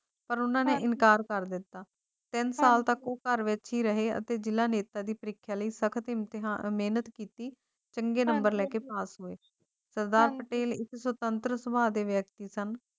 ਪਰ ਉਹਨਾਂ ਨੇ ਇਨਕਾਰ ਕਰ ਦਿੱਤਾ ਹੈ ਸਾਲ ਤੱਕ ਘਰ ਨਹੀਂ ਰਹੇ ਅਤੇ ਗਿਲਾਨੀ ਦੀ ਪ੍ਰੀਖਿਆ ਲਈ ਸਖਤ ਮਿਹਨਤ ਕੀਤੀ ਚੰਗੇ ਨੰਬਰ ਲੈ ਕੇ ਪਾਸ ਹੋਏ ਸਰਦਾਰ ਪਟੇਲ ਸੁਤੰਤਰਤਾ ਦੇ ਵਿਅਕਤੀ ਸਨ